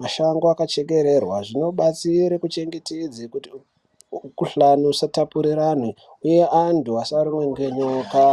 mashango akachekererwa zvinobatsira kuchengetedza Mikuhlani isatapurirwa uye angu antu asarumwa nenyoka.